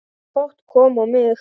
Fát kom á mig.